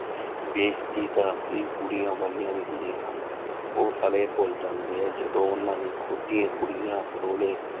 ਬੇਇਜਤੀ ਤਾਂ ਅਸਲੀ ਕੁੜੀਆਂ ਵਾਲੀਆਂ ਵੀ ਹੁੰਦੀਆਂ ਹਨ ਉਹ ਸਾਲੇ ਭੁੱਲ ਜਾਂਦੇ ਆ ਜਦੋਂ ਉਹਨਾਂ ਦੀ ਖੁੱਦ ਦੀਆਂ ਕੁੜੀਆਂ ਰੋਲੇ